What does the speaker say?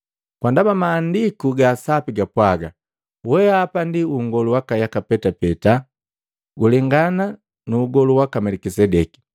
Kwa ndaba Maandiku ga sapi gapwaga, “Weapa ndi nngolu wa yaka petapeta, kulengana nu ugolu waka Melikisedeki.”